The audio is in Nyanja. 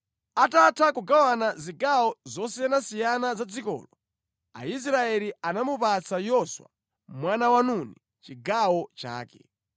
Atatha kugawana zigawo zosiyanasiyana za dzikolo, Aisraeli anamupatsa Yoswa mwana wa Nuni chigawo chake.